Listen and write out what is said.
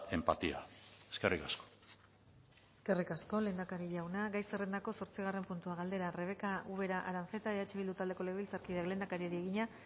empatía eskerrik asko eskerrik asko lehendakari jauna gai zerrendako zortzigarren puntua galdera rebeka ubera aranzeta eh bildu taldeko legebiltzarkideak lehendakariari egina